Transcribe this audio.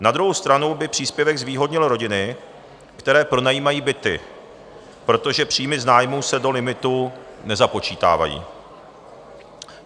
Na druhou stranu by příspěvek zvýhodnil rodiny, které pronajímají byty, protože příjmy z nájmů se do limitu nezapočítávají.